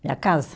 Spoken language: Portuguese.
Minha casa?